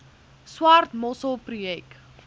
swart mossel projek